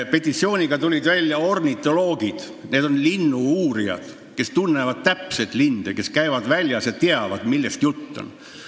Petitsiooniga tulid välja ornitoloogid, need on linnu-uurijad, kes tunnevad hästi linde, kes käivad väljas ja teavad, millest jutt on.